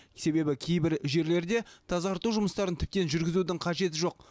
себебі кейбір жерлерде тазарту жұмыстарын тіптен жүргізудің қажеті жоқ